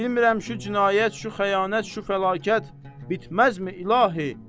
Bilmirəm şu cinayət, şu xəyanət, şu fəlakət bitməzmi, İlahi?